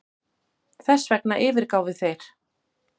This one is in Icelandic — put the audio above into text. Þessvegna yfirgáfu þeir